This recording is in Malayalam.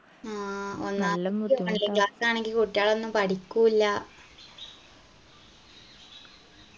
online class ആണെങ്കിൽ കുട്ടികളൊന്നും പഠിക്കു ഇല്ല